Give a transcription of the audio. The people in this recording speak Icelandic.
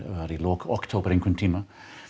var í lok október einhvern tímann